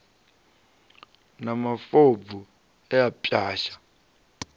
na mafobvu e a pwasha